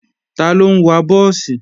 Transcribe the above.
Taló ń wa búùsì?